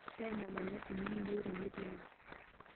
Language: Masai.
Taina Manyasi mekinyieu tene tiang'